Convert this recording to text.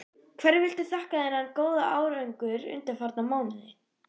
Hverju viltu þakka þennan góða árangur undanfarna mánuði?